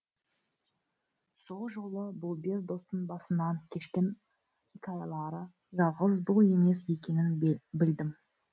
сол жолы бұл бес достың басынан кешкен хикаялары жалғыз бұл емес екенін білдім